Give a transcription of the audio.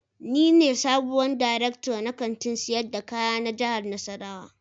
Ni ne sabuwar darekta na Kantin sayar da kaya na jihar nassarawa